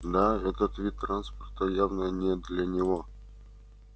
да этот вид транспорта явно не для него